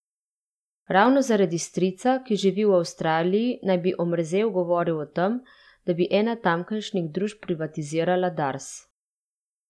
Ravno zaradi strica, ki živi v Avstraliji, naj bi Omerzel govoril o tem, da bi ena tamkajšnjih družb privatizirala Dars.